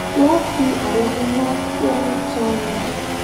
wón fi àwọn iná tó ń tàn ní